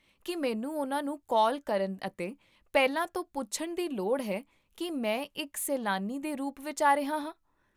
ਕੀ ਮੈਨੂੰ ਉਹਨਾਂ ਨੂੰ ਕਾਲ ਕਰਨ ਅਤੇ ਪਹਿਲਾਂ ਤੋਂ ਪੁੱਛਣ ਦੀ ਲੋੜ ਹੈ ਕੀ ਮੈਂ ਇੱਕ ਸੈਲਾਨੀ ਦੇ ਰੂਪ ਵਿੱਚ ਆ ਰਿਹਾ ਹਾਂ?